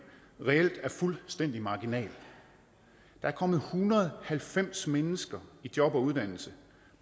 reelt er fuldstændig marginal der er kommet en hundrede og halvfems mennesker i job og uddannelse